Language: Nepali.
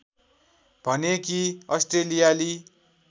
भने कि अस्ट्रेलियाली